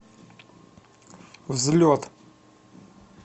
взлет